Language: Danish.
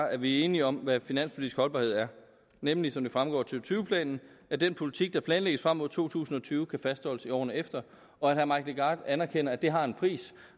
at vi er enige om hvad finanspolitisk holdbarhed er nemlig som det fremgår af to tyve planen at den politik der planlægges frem mod to tusind og tyve kan fastholdes i årene efter og at herre mike legarth anerkender at det har en pris